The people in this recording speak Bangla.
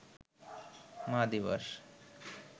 মা দিবস